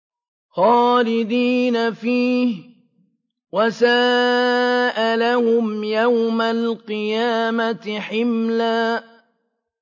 خَالِدِينَ فِيهِ ۖ وَسَاءَ لَهُمْ يَوْمَ الْقِيَامَةِ حِمْلًا